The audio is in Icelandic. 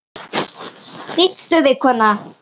Stilltu þig kona!